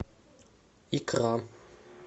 икра